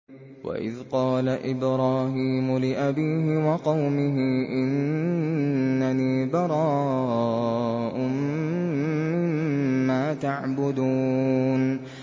وَإِذْ قَالَ إِبْرَاهِيمُ لِأَبِيهِ وَقَوْمِهِ إِنَّنِي بَرَاءٌ مِّمَّا تَعْبُدُونَ